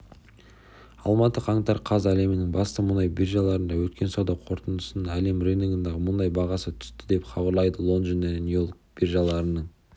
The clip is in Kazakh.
алматы қаңтар қаз әлемнің басты мұнай биржаларында өткен сауда қортындысында әлем рыногындағы мұнай бағасы түстіі деп хабарлайды лондон және нью-йорк биржаларының